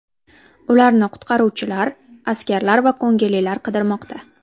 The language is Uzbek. Ularni qutqaruvchilar, askarlar va ko‘ngillilar qidirmoqda.